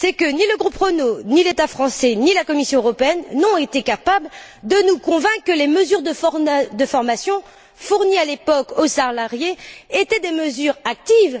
Ni le groupe Renault, ni l'État français, ni la Commission européenne n'ont été capables de nous convaincre que les mesures de formation offertes à l'époque aux salariés étaient des mesures actives.